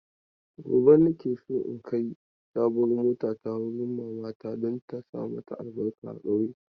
Gobe na ke so in kai sabuwar motata wurin mamata don ta saka albarka a ƙauye.